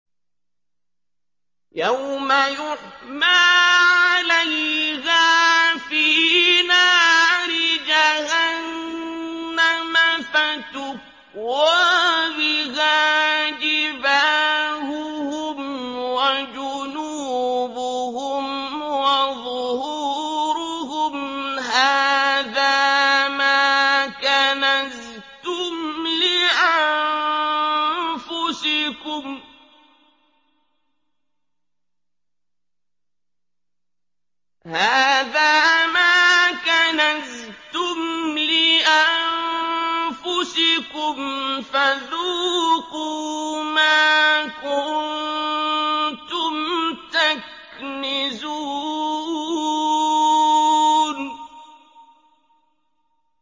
يَوْمَ يُحْمَىٰ عَلَيْهَا فِي نَارِ جَهَنَّمَ فَتُكْوَىٰ بِهَا جِبَاهُهُمْ وَجُنُوبُهُمْ وَظُهُورُهُمْ ۖ هَٰذَا مَا كَنَزْتُمْ لِأَنفُسِكُمْ فَذُوقُوا مَا كُنتُمْ تَكْنِزُونَ